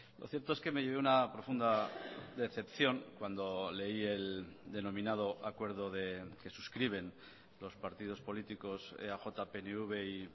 lo cierto es que me llevé una profunda decepción cuando leí el denominado acuerdo que suscriben los partidos políticos eaj pnv y